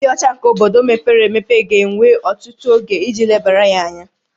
Ịdị ọcha nke obodo mepere emepe ga-ewe ọtụtụ oge iji lebara ya anya